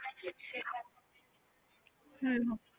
ਹਮ ਹਮ